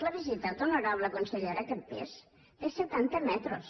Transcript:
l’ha visitat honorable consellera aquest pis té setanta metres